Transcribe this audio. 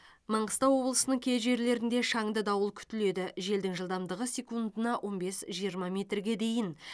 маңғыстау облысының кей жерлерінде шанды дауыл күтіледі желдің жылдамдығы секундына он бес жиырма метрге дейін